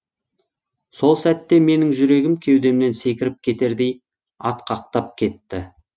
сол сәтте менің жүрегім кеудемнен секіріп кетердей атқақтап кетті